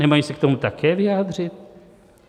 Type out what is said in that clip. Nemají se k tomu také vyjádřit?